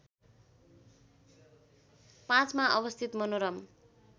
५ मा अवस्थित मनोरम